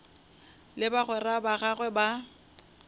le bagwera ba gagwe ba